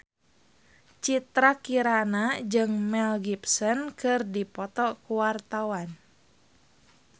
Citra Kirana jeung Mel Gibson keur dipoto ku wartawan